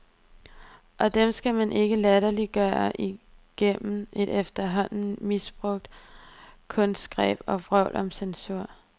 Og dem skal man ikke latterliggøre igennem et efterhånden misbrugt kunstgreb og vrøvl om censur.